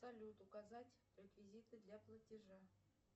салют указать реквизиты для платежа